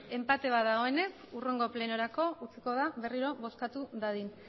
enpate bat dagoenez hurrengo plenorako utziko da berriro bozkatu dadin